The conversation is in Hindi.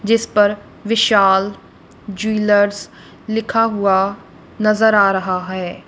जिस पर विशाल ज्वेलर्स लिखा हुआ नजर आ रहा है।